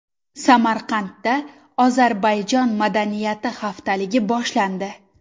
Samarqandda Ozarbayjon madaniyati haftaligi boshlandi.